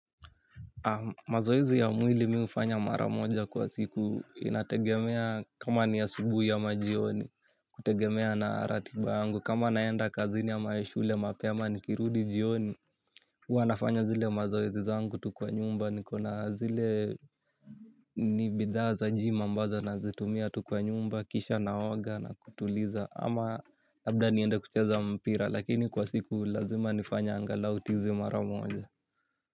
Mazoizi ya mwili mi ufanya maramoja kwa siku inategemea kama ni asubui amajioni kutegemea na ratiba yangu kama naenda kazini ama shule mapema nikirudi jioni. Uwa nafanya zile mazoezi zangu tu kwa nyumba niko na zile ni bidhaa tu za jimua mbazo nazitumia kwa nyumba kisha naoga nakutuliza ama labda niende kucheza mpira na lakini kwa siku lazima nifanye tizi angalau mara moja.